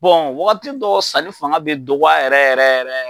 wagati dɔw sanni fanga bɛ dɔgɔya yɛrɛ yɛrɛ yɛrɛ